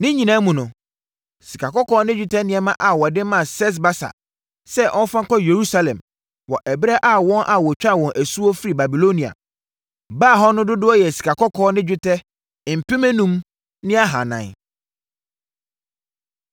Ne nyinaa mu no, sikakɔkɔɔ ne dwetɛ nneɛma a wɔde maa Sesbasar sɛ ɔmfa nkɔ Yerusalem wɔ ɛberɛ a wɔn a wɔtwaa wɔn asuo firi Babilonia baa hɔ no dodoɔ yɛ sikakɔkɔɔ ne dwetɛ mpem enum ne ahanan (5,400).